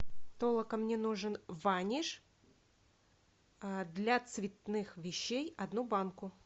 толока мне нужен ваниш для цветных вещей одну банку